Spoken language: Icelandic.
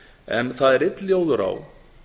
en það er einn ljóður á